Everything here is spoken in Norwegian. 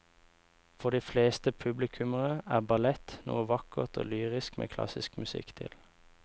For de fleste publikummere er ballett noe vakkert og lyrisk med klassisk musikk til.